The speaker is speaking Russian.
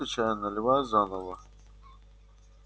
только чай наливай заново